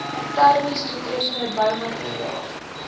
termies doeltreffende boumateriaal